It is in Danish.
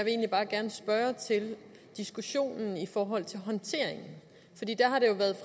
egentlig bare gerne spørge til diskussionen i forhold til håndteringen